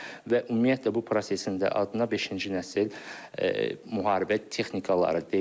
Və ümumiyyətlə bu prosesin də adına beşinci nəsil müharibə texnikaları deyilir.